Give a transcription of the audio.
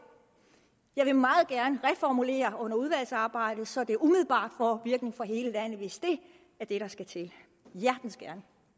… jeg vil meget gerne reformulere det under udvalgsarbejdet så det umiddelbart får virkning for hele landet hvis det er det der skal til hjertens gerne